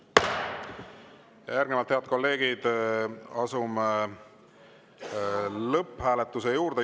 Järgnevalt, head kolleegid, asume lõpphääletuse juurde.